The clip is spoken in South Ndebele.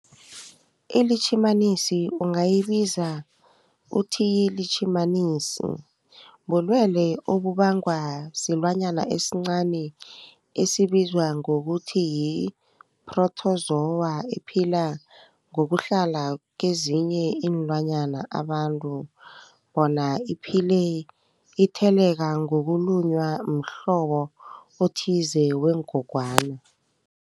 ILitjhimanisi ungayibiza uthiyilitjhimanisi, bulwelwe obubangwa silwanyana esincani esibizwa ngokuthiyi-phrotozowa ephila ngokuhlala kezinye iinlwanyana, abantu bona iphile itheleka ngokulunywa mhlobo othize wengogwana.